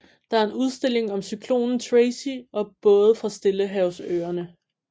Der er en udstilling om cyklonen Tracy og både fra Stillehavsøerne